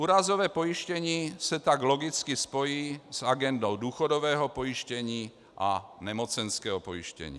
Úrazové pojištění se tak logicky spojí s agendou důchodového pojištění a nemocenského pojištění.